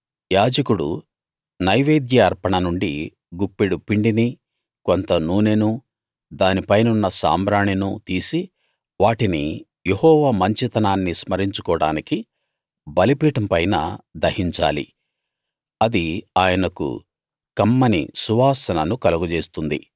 యాజకుడు నైవేద్య అర్పణ నుండి గుప్పెడు పిండినీ కొంత నూనెనూ దాని పైనున్న సాంబ్రాణినూ తీసి వాటిని యెహోవా మంచితనాన్ని స్మరించుకోడానికి బలిపీఠం పైన దహించాలి అది ఆయనకు కమ్మని సువాసనను కలుగజేస్తుంది